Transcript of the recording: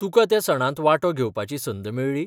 तुका त्या सणांत वांटो घेवपाची संद मेळ्ळी?